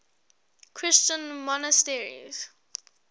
christian monasteries